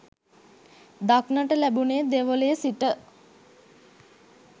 දක්නට ලැබුණේ දෙවොලේ සිට